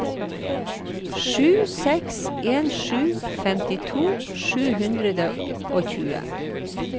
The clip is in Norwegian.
sju seks en sju femtito sju hundre og tjue